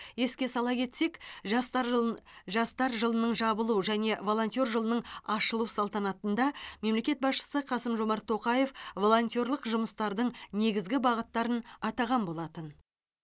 еске сала кетсек жастар жылын жастар жылының жабылу және волонтер жылының ашылу салтанатында мемлекет басшысы қасым жомарт тоқаев волонтерлық жұмыстардың негізгі бағыттарын атаған болатын